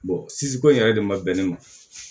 ko in yɛrɛ de ma bɛn ne ma